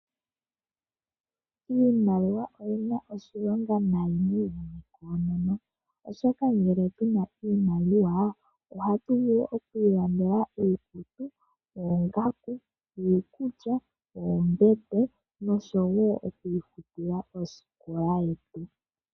Iimaliwa oyina oshilonga nayi kukehe omuntu oshoka ngele puna iimaliwa ohatu vulu oku ilandela iikutu, iikulya, oongaku noombete noshowo oku ifutila osikola yetu.